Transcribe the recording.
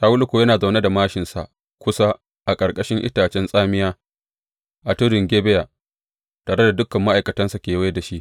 Shawulu kuwa yana zaune da māshinsa kusa a ƙarƙashin itacen tsamiya a tudun Gibeya, tare da dukan ma’aikatansa kewaye da shi.